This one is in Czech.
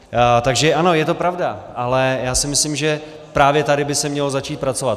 Takže ano, je to pravda, ale já si myslím, že právě tady by se mělo začít pracovat.